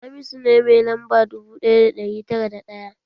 Hamisu ne mai lamba dubu ɗaya da ɗari tara da ɗaya